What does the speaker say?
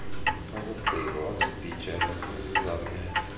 akugqiba wazibhijela kuzizamele